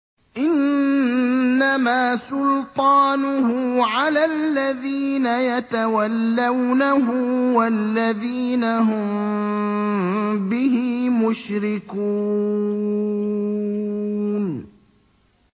إِنَّمَا سُلْطَانُهُ عَلَى الَّذِينَ يَتَوَلَّوْنَهُ وَالَّذِينَ هُم بِهِ مُشْرِكُونَ